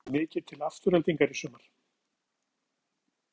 Hefur þú séð mikið til Aftureldingar í sumar?